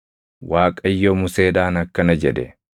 Waaqayyo Museedhaan akkana jedhe;